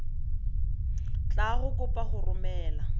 tla go kopa go romela